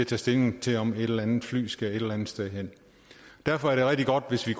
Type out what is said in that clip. tage stilling til om et eller andet fly skal et eller andet sted hen derfor er det rigtig godt hvis vi